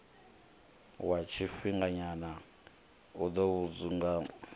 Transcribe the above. wa tshifhinganyana u ḓo fhungudza